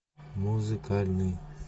музыкальный